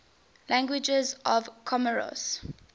languages of comoros